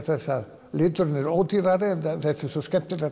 þess að liturinn er ódýrari þetta er svo skemmtilegt